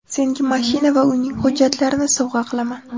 Senga mashina va uyning hujjatlarini sovg‘a qilaman.